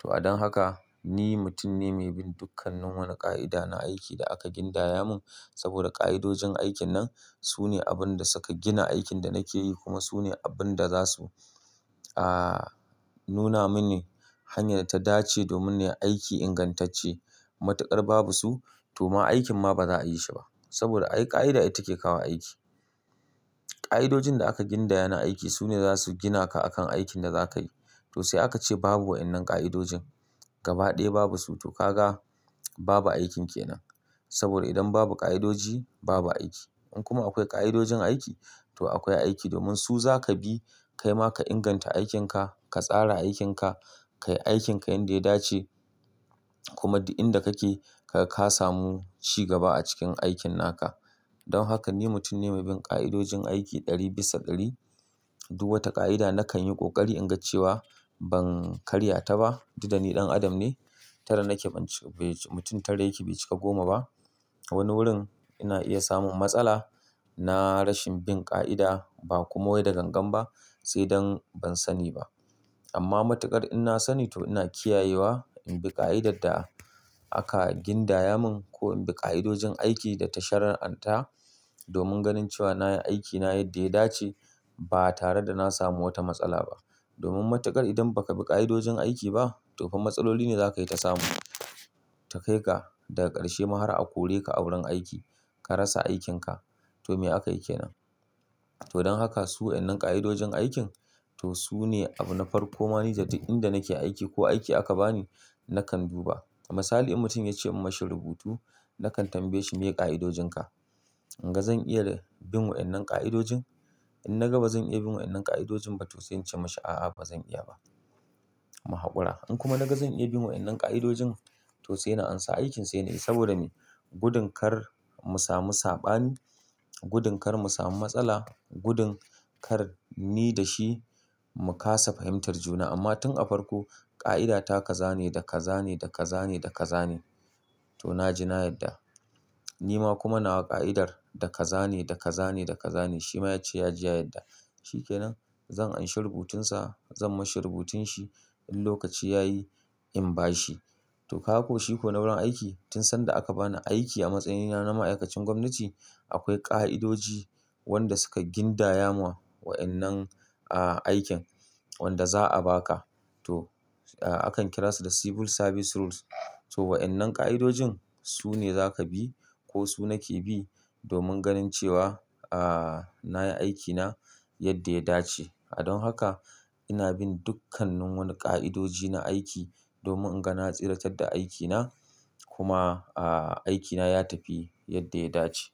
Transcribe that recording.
To adon haka ni mutum ne mai bin dukkannin wani ƙa'ida na aiki da aka gindaya mun saboda ƙa'idojin aikin nan su ne abin da suka gina aikin da nake yi kuma su ne abin da za su, aa, nuna mini hanyar ta dace domin ne aiki ingantacce. Matuƙar babu su to ma aikin ma ba za'a yi shi ba. Saboda ai ƙa'ida ita ke kawo aiki. Ƙa'idojin da aka gindaya na aiki su ne za su gina ka akan aikin da za ka yi. To sai aka ce babu wa'innan ƙa'idojin gaba ɗaya babu su to ka ga babu aikin kenan. Saboda idan babu ƙa'idoji babu aiki. In kuma akwai ƙa'idojin aiki to akwai aiki domin su za ka bi kai ma ka inganta aikin ka, ka tsara aikin ka, ka yi aikin ka yanda ya dace kuma duk inda kake ka samu ci gaba a cikin aikin naka. Don haka ni mutum ne mai bin ƙa'idojin aiki ɗari bisa ƙari. Duk wata ƙa'ida nakan yi ƙoƙari in ga cewa ban karya ta ba. Duk da ni ɗan adam ne. Tara nake ban ci-- mutum tara yake bai cika goma ba. Wani wurin ina iya samun matsala na rashin bin ƙa'ida ba kuma wai da gangan ba sai dan ban sani ba. Amma matuƙar in na sani to ina kiyayewa in bi ƙa'idar da aka gindaya mun ko in bi ƙa'idojin aiki da tashar an ta domin ganin cewa na yi aikina yadda ya dace ba tare da na samu wata matsala ba. Domin matuƙar idan ba ka bi ƙa'idojin aiki ba to fa matsaloli ne za ka yi ta samu. Ta kai ga daga ƙarshe ma har a kore ka a wurin aiki ka rasa aikin ka. To me aka yi ke nan? To don haka su wa'innan ƙa'idojin aikin to su ne abu na farko ma ni da duk inda nake aiki ko aiki aka ba ni nakan bi ba. Misali, in mutum ya ce in mun shi rubutu nakan tambaye shi me ƙa'idojin ka? In ga zan iya bin wa'innan ƙa'idojin, in na ga ba zan iya bin wa'innan ƙa'idojin ba to sai in ce mashi, "A'a, ba zan iya ba." Mu haƙura. In kuma na ga zan iya bin wa'innan ƙa'idojin to sai na ansa aikin sai nayi saboda me? Gudun kar mu samu saɓani, gudun kar mu samu matsala, gudun kar ni da shi mu kasa fahimtar juna. Amma tun an farko ƙa'ida ta kaza ne da kaza ne da kaza ne da kaza ne to na ji na yadda. Ni ma kuma nawa ƙa'idar da kaza ne da kaza ne da kaza ne shi ma ya ce ya ji ya yadda. Shi kenan zan anshi rubutunsa, zan mashi rubutun shi in lokaci ya yi in ba shi. To kawo shi ko na wurin aiki tun sanda aka bani aiki a matsayina na ma'aikacin gwamnati akwai ƙa'idoji wanda suka gindaya wa wa'innan, aa, aikin wanda za'a ba ka. To, a kan kira su da Civil Service Rules. To wa'innan ƙa'idojin su ne za ka bi ko su nake bi domin ganin cewa, aa, na yi aikina yadda ya dace. Don haka ina bin dukkanannu wani ƙa'idoji na aiki domin in ga na tsiratar da aikina kuma, aa, aikina ya tafi yadda ya dace.